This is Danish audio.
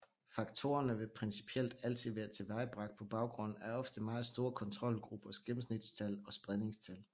Faktorerne vil principielt altid være tilvejebragt på baggrund af ofte meget store kontrolgruppers gennemsnitstal og spredningstal